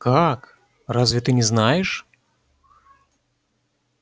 как разве ты не знаешь